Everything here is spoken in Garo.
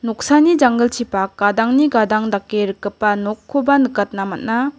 oksani janggilchipak gadangni gadang dake rikgipa nokkoba nikatna man·a.